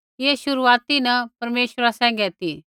ऐ शुरुआती न परमेश्वरा सैंघै ती